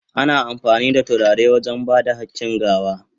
Ana amfani da turare wajen ba da hakin gawa.